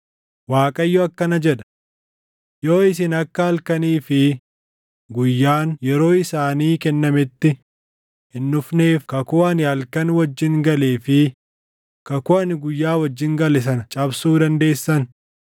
“ Waaqayyo akkana jedha; ‘Yoo isin akka halkanii fi guyyaan yeroo isaanii kennametti hin dhufneef kakuu ani halkan wajjin galee fi kakuu ani guyyaa wajjin gale sana cabsuu dandeessan,